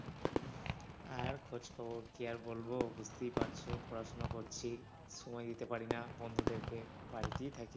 আর খোঁজ খবর কি আর বলব বুঝতেই পারছ, পড়াশোনা করছি সময় দিতে পারি না বন্ধুদেরকে, বাড়িতেই থাকি।